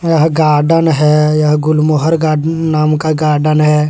यह गार्डन हैयह गुलमोहर गार्डन नाम का गार्डन है।